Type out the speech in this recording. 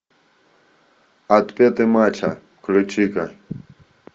отпетый мачо включи ка